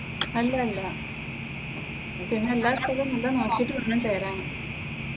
അല്ലല്ലാ പിന്നെ എല്ലാ സ്ഥലവും നല്ല നോക്കിയിട്ട് വേണം ചേരാൻ.